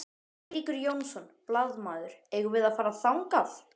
Eiríkur Jónsson, blaðamaður: Eigum við að fara þangað?